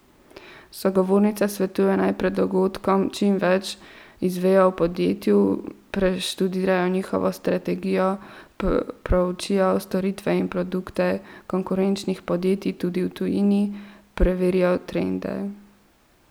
Sogovornica svetuje, naj pred dogodkom čim več izvejo o podjetju, preštudirajo njihovo strategijo, proučijo storitve in produkte konkurenčnih podjetij tudi v tujini, preverijo trende.